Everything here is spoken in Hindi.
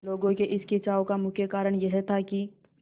लोगों के इस खिंचाव का मुख्य कारण यह था कि